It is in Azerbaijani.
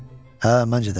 Hə, məncə də.